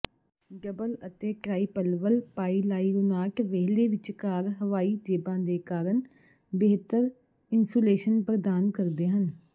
double ਅਤੇ ਟ੍ਰਾਈਪਲਵਲ ਪਾਈਲਾਈਰੋਨਾਟ ਵਿਹਲੇ ਵਿਚਕਾਰ ਹਵਾਈ ਜੇਬਾਂ ਦੇ ਕਾਰਨ ਬਿਹਤਰ ਇਨਸੂਲੇਸ਼ਨ ਪ੍ਰਦਾਨ ਕਰਦੇ ਹਨ